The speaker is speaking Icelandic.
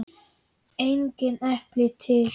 Engin epli til!